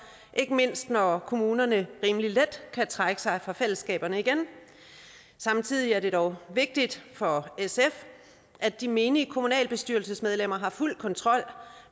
ikke mindst når kommunerne rimelig let kan trække sig fra fællesskaberne igen samtidig er det dog vigtigt for sf at de menige kommunalbestyrelsesmedlemmer har fuld kontrol